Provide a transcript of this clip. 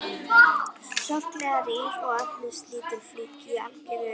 Sorglega rýr og efnislítil flík í algeru uppáhaldi hjá